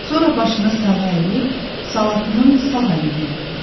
Sonra başını sağa əyib, Salatının sağ əlindən öpürdü.